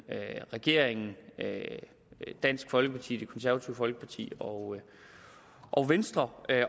regeringen dansk folkeparti det konservative folkeparti og og venstre